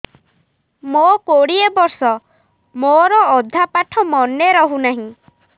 ମୋ କୋଡ଼ିଏ ବର୍ଷ ମୋର ଅଧା ପାଠ ମନେ ରହୁନାହିଁ